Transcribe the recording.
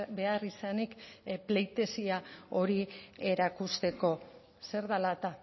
beharrizanik pleitesía hori erakusteko zer dela eta